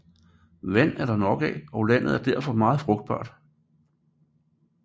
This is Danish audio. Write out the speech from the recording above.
Vand er det nok af og landet er derfor meget frugtbart